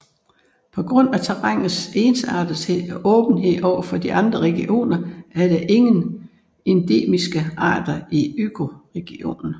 På grund af terrænets ensartethed og åbenhed over for andre regioner er der ingen endemiske arter i økoregionen